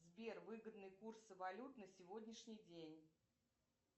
сбер выгодные курсы валют на сегодняшний день